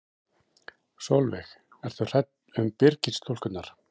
Sólveig: Ertu hrædd um Byrgis-stúlkurnar?